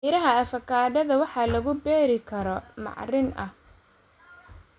Miraha avocado waxaa lagu beeraa carro bacrin ah.